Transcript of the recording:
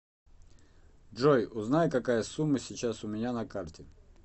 джой узнай какая сумма сейчас у меня на карте